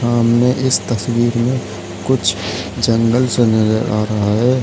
सामने इस तस्वीर में कुछ जंगल नजर आ राहा है।